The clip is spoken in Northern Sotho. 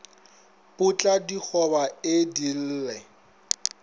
potla digoba e di lle